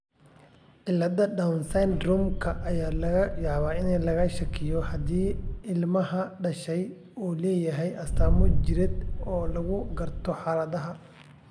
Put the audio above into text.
Cilladda Down syndrome-ka ayaa laga yaabaa in laga shakiyo haddii ilmaha dhashay uu leeyahay astaamo jireed oo lagu garto xaaladda.